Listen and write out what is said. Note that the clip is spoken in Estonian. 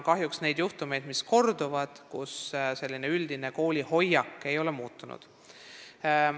Kahjuks on ka koole, kus paljudel juhtudel ei ole kooli üldine hoiak muutunud.